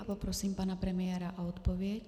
A poprosím pana premiéra o odpověď.